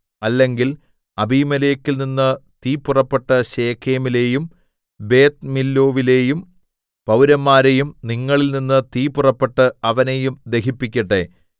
അല്ലെങ്കിൽ അബീമേലെക്കിൽനിന്ന് തീ പുറപ്പെട്ട് ശെഖേമിലേയും ബേത് മില്ലൊവിലേയും പൗരന്മാരെയും നിങ്ങളിൽനിന്ന് തീ പുറപ്പെട്ട് അവനെയും ദഹിപ്പിക്കട്ടെ